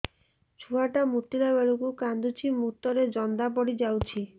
ଛୁଆ ଟା ମୁତିଲା ବେଳକୁ କାନ୍ଦୁଚି ମୁତ ରେ ଜନ୍ଦା ପଡ଼ି ଯାଉଛି